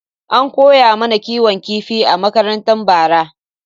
An koya mana kiwon kifi a makaranta bara.